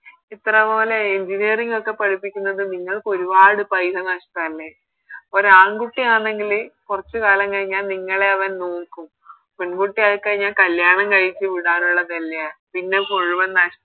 ഇത്രപോലെ Engineering ഒക്കെ പഠിപ്പിക്കുന്നത് നിങ്ങൾക്ക് ഒരുപാട് പൈസ നഷ്ട്ടല്ലേ ഒരാൺകുട്ടി ആന്നെങ്കില് കൊറച്ച് കാലം കഴിഞ്ഞ നിങ്ങളെ അവൻ നോക്കും പെൺകുട്ടി ആയിക്കഴിഞ്ഞാല്‍ കല്യാണം കഴിച്ച് വിടാനുള്ളതല്ലേ പിന്നെ മുഴുവൻ നഷ്